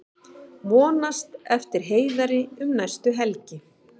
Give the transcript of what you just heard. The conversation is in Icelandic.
Vonast eftir Heiðari um næstu helgi